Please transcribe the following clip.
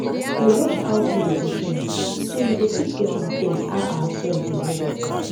dey watch how things dey change so you go fit get am clear how our soil dey work